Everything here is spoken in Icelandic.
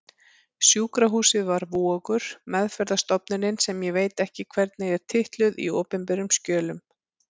Sjúkrahúsið var Vogur, meðferðarstofnunin sem ég veit ekki hvernig er titluð í opinberum skjölum.